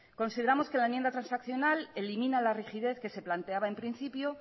consideramos que la enmienda de transaccional elimina la rigidez que se planteaba en principio